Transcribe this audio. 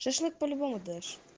шашлык по-любому дашь